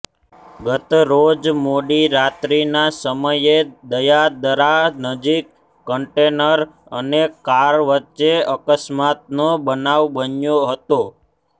ગતરોજ મોડી રાત્રિના સમયે દયાદરા નજીક કંન્ટેનર અને કાર વચ્ચે અકસ્માતનો બનાવ બન્યો હતો